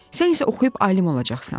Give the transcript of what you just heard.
Sən isə oxuyub alim olacaqsan.